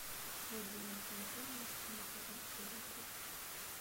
блудливая калифорния седьмой сезон серия тридцать три